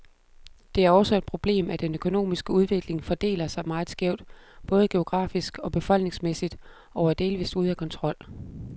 Det er også et problemet, at den økonomiske udvikling fordeler sig meget skævt, både geografisk og befolkningsmæssigt, og er delvist ude af kontrol.